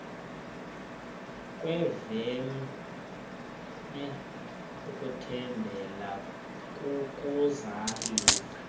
kwevume ukuthembela kokuzalisa